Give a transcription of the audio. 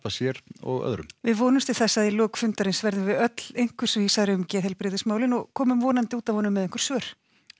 sér og öðrum við vonumst til þess að í lok fundarins verðum við öll einhvers vísari um geðheilbrigðismálin og komum vonandi út af honum með einhver svör